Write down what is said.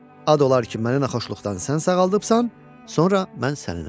Ad olar ki, məni naxoşluqdan sən sağaldıbsan, sonra mən səninəm.